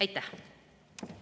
Aitäh!